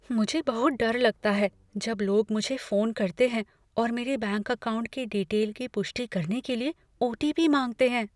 मुझे बहुत डर लगता है जब लोग मुझे फोन करते हैं और मेरे बैंक अकाउंट के डीटेल की पुष्टि करने के लिए ओ.टी.पी. मांगते हैं।